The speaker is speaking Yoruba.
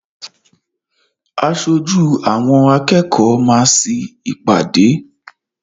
Aṣojú àwọn akẹ́kọ̀ọ́ máa sí ìpàdé.